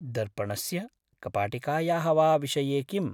दर्पणस्य कपाटिकायाः वा विषये किम्?